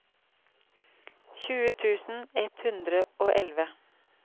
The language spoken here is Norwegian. tjue tusen ett hundre og elleve